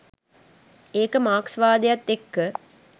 ඒක මාක්ස්වාදයත් එක්ක